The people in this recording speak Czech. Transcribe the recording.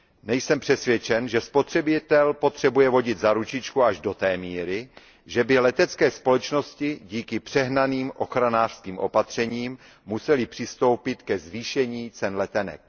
Nejsem přesvědčen, že spotřebitel potřebuje vodit za ručičku až do té míry, že by letecké společnosti díky přehnaným ochranářským opatřením musely přistoupit ke zvýšení cen letenek.